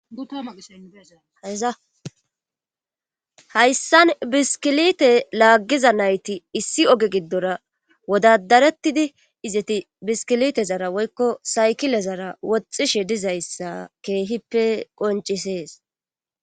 Aeahayssan biskilite laaggiza nayti issi oge giddora wodadarettidi izati biskilite zara woykko saykile zara woxxishe dizayssa keehippe qoncisees